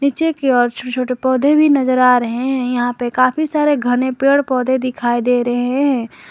नीचे की ओर छोटे छोटे पौधे भी नजर आ रहे हैं यहां पे काफी सारे घने पेड़ पौधे दिखाई दे रहे हैं।